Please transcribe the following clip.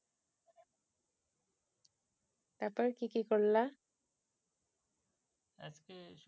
তারপর কি কি করলা আজকে